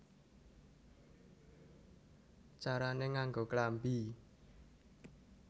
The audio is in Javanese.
Carané Nganggo Klambi